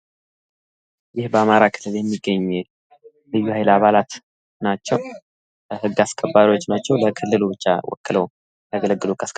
ይህ በአማራ ክልል የሚገኝ ልዩሀይል አባላት ናቸው። ህግ አስከባሪዎች ናቸው። ለክልሉ ብቻ ወክለው የሚያገለግሉ ህግ አስከባሪዎች ናቸው።